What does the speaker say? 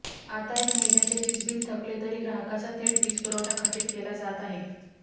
आता एक महिन्याचे वीजबिल थकले तरी ग्राहकाचा थेट वीजपुरवठा खंडित केला जात आहे